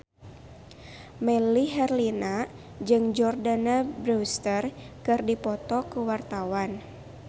Melly Herlina jeung Jordana Brewster keur dipoto ku wartawan